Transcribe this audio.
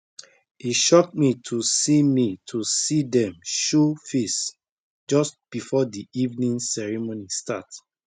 e shock me to see me to see dem show face just before the evening ceremony start